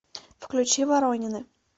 включи воронины